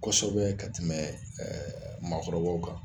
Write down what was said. Kosɛbɛ ka tɛmɛ ɛ maakɔrɔbaw kan